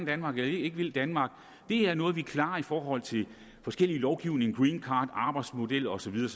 danmark eller ikke vil danmark er noget vi klarer i forhold til forskellig lovgivning greencard arbejdsmodel og så videre